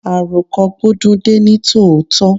Àroko gbó dún dé ní tòótọ́.